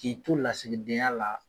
K'i to lasigidenya la